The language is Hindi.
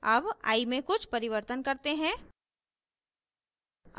अब i में कुछ परिवर्तन करते हैं